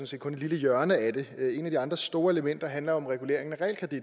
set kun et lille hjørne af det et af de andre store elementer handler om regulering